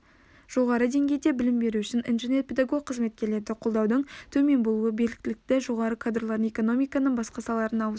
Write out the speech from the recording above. жоғары деңгейде білім беру үшін инженер-педагог қызметкерлерді қолдаудың төмен болуы біліктілігі жоғары кадрлардың экономиканың басқа салаларына ауысуына